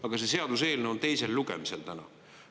Aga see seaduseelnõu on teisel lugemisel täna.